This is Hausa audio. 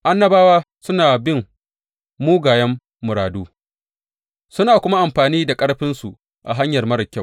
Annabawa suna bin mugayen muradu suna kuma amfani da ƙarfinsu a hanyar marar kyau.